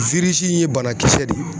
in ye banakisɛ de ye.